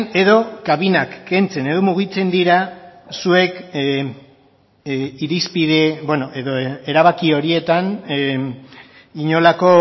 edo kabinak kentzen edo mugitzen dira zuek irizpide edo erabaki horietan inolako